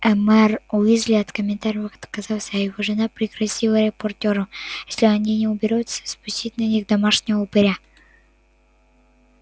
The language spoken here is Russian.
ээ мэр уизли от комментариев отказался а его жена пригрозила репортёру если они не уберутся спустить на них домашнего упыря